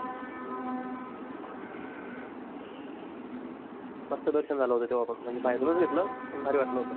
मस्त दर्शन झालं होतं तेवा पण म्हणजे बाहेरून चं घेतल पण भारी वाटला होता.